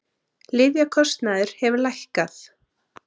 Lyfjakostnaður hefur lækkað